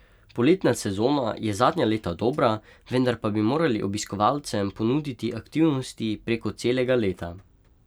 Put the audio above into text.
Poletna sezona je zadnja leta dobra, vendar pa bi morali obiskovalcem ponuditi aktivnosti preko celega leta.